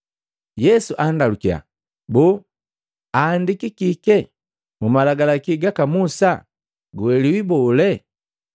Yesu andalukiya, “Boo, aandiki kike mmalagalaki gaka Musa? Guelewa bole?”